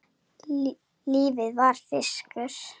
Lífið var fiskur.